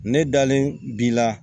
Ne dalen bi la